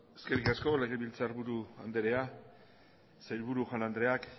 eskerrik asko legebiltzarburu anderea sailburu jaun andreak